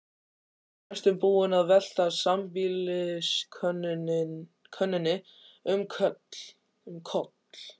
Næstum búinn að velta sambýliskonunni um koll.